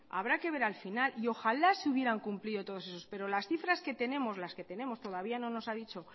habrá que ver al final y ojalá se hubieran cumplido todos esos pero las cifras que tenemos todavía no nos ha dicho